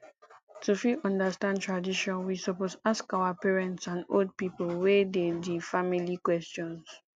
to fit understand tradition we suppose ask our parents and old pipo wey de di family questions